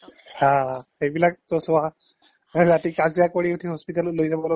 হা সেইবিলাকতো চোৱা ৰাতি কাজিয়া কৰি উঠি hospital ত লৈ যাব